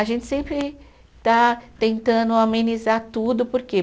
A gente sempre está tentando amenizar tudo, por quê?